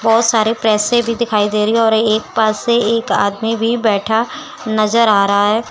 बहोत सारे पैसे भी दिखाई दे रही है और एक पास से एक आदमी भी बैठा नजर आ रहा है।